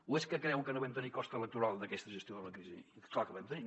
o és que creuen que no vam tenir cost electoral d’aquesta gestió de la crisi clar que en vam tenir